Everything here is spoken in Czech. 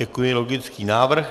Děkuji, logický návrh.